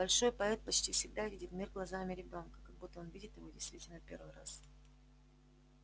большой поэт почти всегда видит мир глазами ребёнка как будто он видит его действительно в первый раз